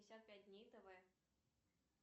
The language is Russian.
пятьдесят пять дней тв